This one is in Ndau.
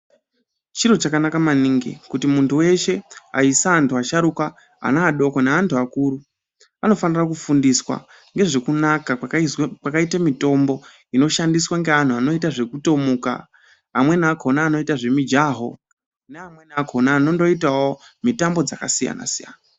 Chiro chakanaka maningi kuti muntu veshe aisa, antu asharuka, anadoko neantu akuru. Anofanira kufundiswa ngezvekunaka kwakaizwa kwaita mitombo inoshandiswa neantu anoita zvekutomuka, amweni akona anoita zvemijaho neamweni akona anondoitavo mitambo dzakasiyana-siyana.